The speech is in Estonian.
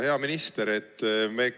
Hea minister!